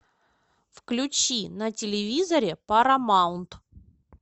включи на телевизоре парамаунт